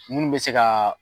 Munnu bɛ se ka